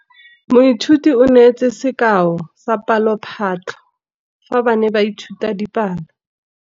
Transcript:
Moithuti o neetse sekaô sa palophatlo fa ba ne ba ithuta dipalo.